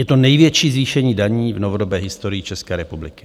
Je to největší zvýšení daní v novodobé historii České republiky.